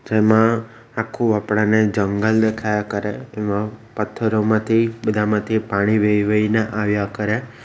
એમા આખું આપણાને જંગલ દેખાયા કરે એમાં પથ્થરોમાંથી બધામાંથી પાણી વહી વહીને આવ્યા કરે.